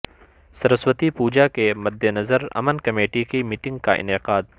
سر سو تی پو جا کے مد نظر امن کمیٹی کی میٹنگ کا انعقاد